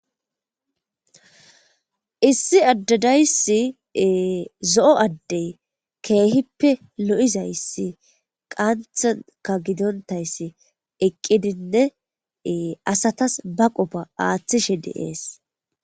issi addadayssi zo7o addey keehippe lo7izayssi qanthanka gidontayssi eqqidinne asatas ba qofa aaththishe de7ees.